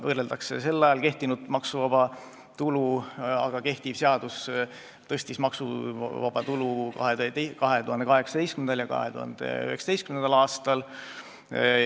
Võrreldakse sel ajal kehtinud maksuvaba tulu, aga kehtiv seadus tõstis maksuvaba tulu 2018. ja 2019. aastal.